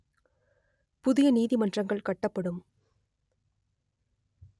புதிய நீதிமன்றங்கள் கட்டப்படும்